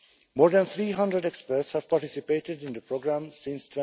More than 300 experts have participated in the programme since